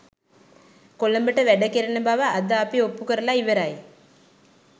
කොළඹට වැඩ කෙරෙන බව අද අපි ඔප්පු කරලා ඉවරයි